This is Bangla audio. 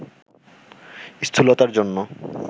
স্থূলতার জন্য